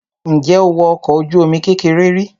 Ǹjẹ́ o wọ ọkọ̀ ojú-omi kékeré rí?